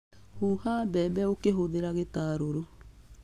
Huha mbembe ũkĩhũthĩra gĩtarũrũ.